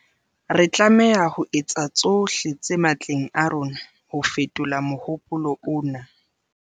Re tlameha ho etsa tsohle tse matleng a rona ho fetola mohopolo ona.